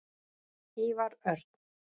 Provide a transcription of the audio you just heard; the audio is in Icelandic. Ívar Örn.